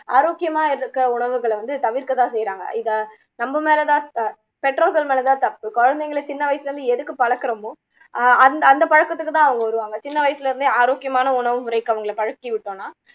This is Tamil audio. ஆரோக்கியாமா இருக்க உணவுகளை தவிர்க்க தான் செய்யுறாங்க நம்ம மேல தான் த பெற்றோர்கள் மேல தான் தப்பு குழந்தைங்களை சின்ன வயசுல இருந்து எதுக்கு பழக்குறோமோ ஆஹ் அ அந்த பழக்கத்துக்கு தான் அவங்க வருவாங்க சின்ன வயசுல இருந்தே ஆரோக்கியமான உணவு முறைக்கு அவங்களை பழக்கி விடோம்னா